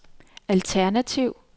alternativ